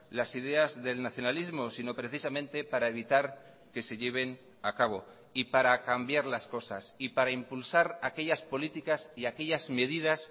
las ideas del nacionalismo sino precisamente para evitar que se lleven a cabo y para cambiar las cosas y para impulsar aquellas políticas y aquellas medidas